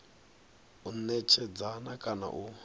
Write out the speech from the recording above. u netshedza na kana u